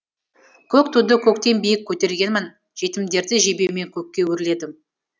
көк туды көктен биік көтергенмін жетімдерді жебеумен көкке өрледім